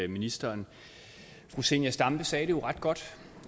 ministeren fru zenia stampe sagde det jo ret godt